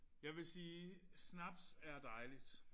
Jeg vil sige snaps er dejligt